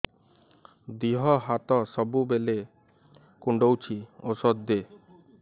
ଦିହ ହାତ ସବୁବେଳେ କୁଣ୍ଡୁଚି ଉଷ୍ଧ ଦେ